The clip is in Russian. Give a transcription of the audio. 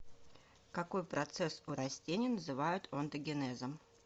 какой процесс у растений называют онтогенезом